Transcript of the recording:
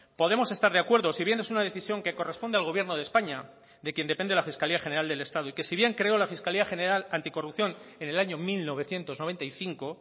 podemos estar de acuerdo si bien es una decisión que corresponde al gobierno de españa de quien depende la fiscalía general del estado y que si bien creó la fiscalía general anticorrupción en el año mil novecientos noventa y cinco